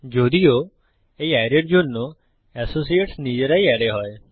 যদিও এই অ্যারের জন্য এসসিয়েটস সহযোগী নিজেরাই অ্যারে হয়